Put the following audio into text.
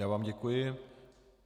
Já vám děkuji.